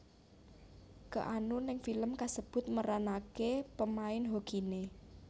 Keanu ning film kasebut meranaké pemain hokiné